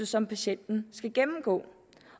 som patienten skal gennemgå